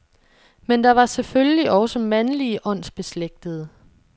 Men der var selvfølgelig også mandlige åndsbeslægtede.